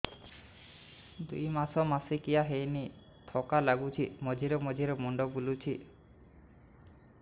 ଦୁଇ ମାସ ମାସିକିଆ ହେଇନି ଥକା ଲାଗୁଚି ମଝିରେ ମଝିରେ ମୁଣ୍ଡ ବୁଲୁଛି